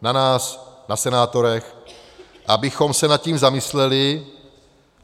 Na nás, na senátorech, abychom se nad tím zamysleli.